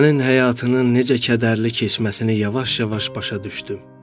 Sənin həyatının necə kədərli keçməsini yavaş-yavaş başa düşdüm.